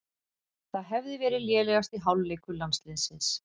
Það hefði verið lélegasti hálfleikur landsliðsins